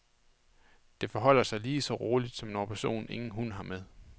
Det forholder sig lige så roligt, som når personen ingen hund har med.